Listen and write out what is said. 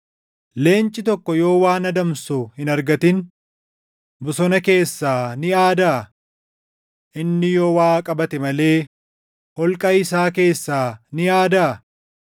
Leenci tokko yoo waan adamsu hin argatin bosona keessaa ni aadaa? Inni yoo waa qabate malee holqa isaa keessaa ni aadaa?